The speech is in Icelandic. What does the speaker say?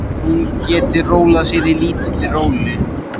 Hún geti rólað sér í lítilli rólu.